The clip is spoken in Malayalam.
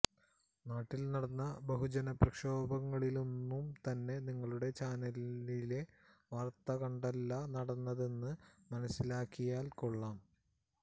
നാട്ടിൽ നടന്ന ബഹുജനപ്രക്ഷോഭങ്ങളൊന്നും തന്നെ നിങ്ങളുടെ ചാനലിലെ വാർത്തകണ്ടല്ല നടന്നതെന്ന് മനസ്സിലാക്കിയാൽ കൊള്ളാം